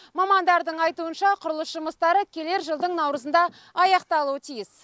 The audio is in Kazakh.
мамандардың айтуынша құрылыс жұмыстары келер жылдың наурызында аяқталуы тиіс